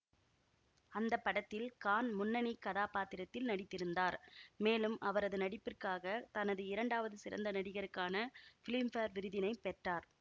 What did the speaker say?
அந்த படத்தில் கான் முன்னணி கதாபாத்திரத்தில் நடித்திருந்தார் மேலும் அவரது நடிப்பிற்காக தனது இரண்டாவது சிறந்த நடிகருக்கான ஃபிலிம்பேர் விருதினை பெற்றார்